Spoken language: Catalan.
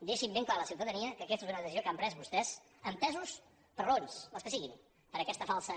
deixin ben clar a la ciutadania que aquesta és una decisió que han pres vostès empesos per raons les que siguin per aquesta falsa